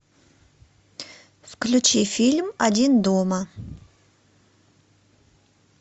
включи фильм один дома